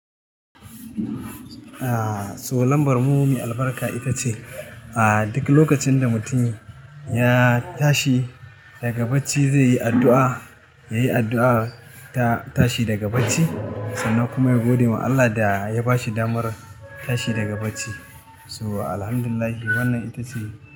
Ah, so lambar mu mi albarka ita ce, ah duk lokacin da mutum ya tashi daga bacci zai yi addu'a, ya yi addu'a ta tashi daga bacci sannan kuma ya gode wa Allah da ya ba shi damar tashi daga bacci. So Alhamdulillah wannan ita ce.